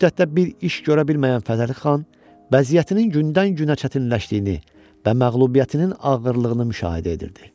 Bu müddətdə bir iş görə bilməyən Fətəli xan, vəziyyətinin gündən-günə çətinləşdiyini və məğlubiyyətinin ağırlığını müşahidə edirdi.